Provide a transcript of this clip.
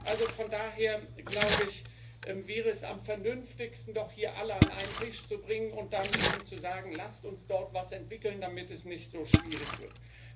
Also von daher wäre es am vernünftigsten, doch hier alle an einen Tisch zu bringen und dann eben zu sagen Lasst uns dort etwas entwickeln, damit es nicht so schwierig wird.